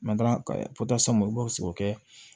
olu b'o se o kɛ